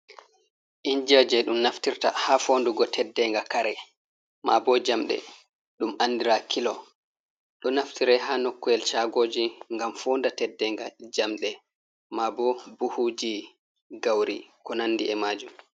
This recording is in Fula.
Injiwa je ɗum naftirta ha fondugo teddenga kare, ma bo jamde ɗum andira kilo, ɗo naftire ha nokkoyel chagoji gam foo nda teddenga jamɗe ma bo buhuji gauri ko nandi e majum.